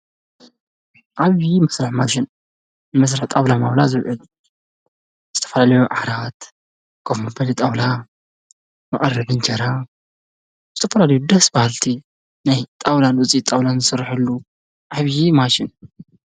ዓብዪ መስርሒ ማሽን መስርሒ ጣዉላ ማዉላ ዝዉዕል ዝተፈላለዩ ዓራት ፣ኮፍ መበሊ ፣ ጣዉላ መቅረቢ እንጀራ ፣ ዝተፈላለዩ ደስ በሃልቲ ናይ ጣዉላን ዉጺኢት ጣዉላን ዝስረሐሉ ዓብዪ ማሽን ።